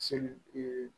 Seli